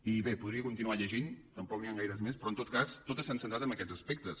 i bé en podria continuar llegint tampoc n’hi han gaires més però en tot cas totes s’han centrat en aquests aspectes